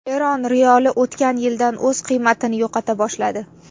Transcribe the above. Eron riyoli o‘tgan yildan o‘z qiymatini yo‘qota boshladi.